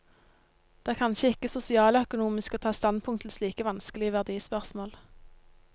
Det er kanskje ikke sosialøkonomisk å ta standpunkt til slike vanskelige verdispørsmål.